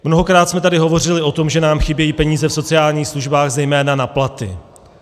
Mnohokrát jsme tady hovořili o tom, že nám chybějí peníze v sociálních službách zejména na platy.